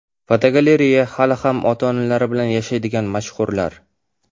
Fotogalereya: Hali ham ota-onalari bilan yashaydigan mashhurlar.